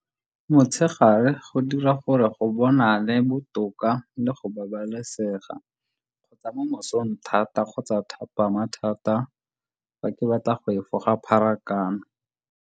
Motshegare go dira gore go bonale botoka le go babalesega kgotsa mo mosong thata kgotsa thapama thata fa ke batla go efoga pharakano.